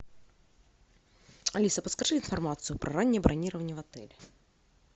алиса подскажи информацию про раннее бронирование в отеле